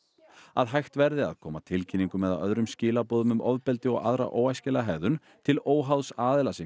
að hægt verði að koma tilkynningum eða öðrum skilaboðum um ofbeldi og aðra óæskilega hegðun til óháðs aðila sem